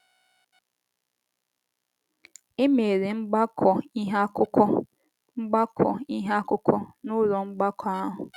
E mere mgbakọ ihe akụkọ mgbakọ ihe akụkọ n’ụlọ mgbakọ ahụ.